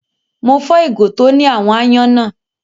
Mo fọ́ ìgò tó ní àwọn aáyán náà.